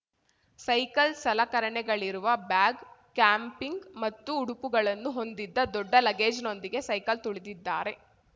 cycle ಸಲಕರಣೆಗಳಿರುವ bag camping ಮತ್ತು ಉಡುಪುಗಳನ್ನು ಹೊಂದಿದ್ದ ದೊಡ್ಡ ಲಗೇಜ್‌ನೊಂದಿಗೆ ಸೈಕಲ್‌ ತುಳಿದಿದ್ದಾರೆ